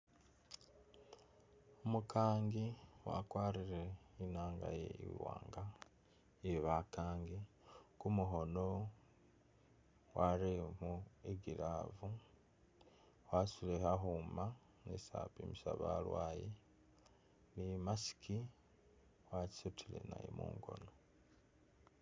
Umukaangi wakwarile inanga iwanga ye bakaangi kumukhono warelekho i'glove wasudile kakhuma khesi apimisa balwaye ni mask wasudile naye mungoono.